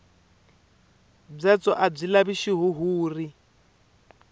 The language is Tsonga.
byatso a byi lavi xihuhuri